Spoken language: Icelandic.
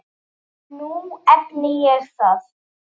Nú efni ég það.